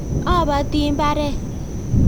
Apati mbaret